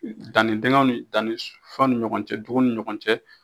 Danni dingɛw ni danni fɛn ni ɲɔgɔn cɛ dugun ni ɲɔgɔn cɛ